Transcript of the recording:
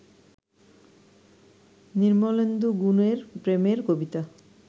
নির্মলেন্দু গুণের প্রেমের কবিতা